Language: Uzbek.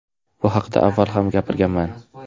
Bu haqida avval ham gapirganman .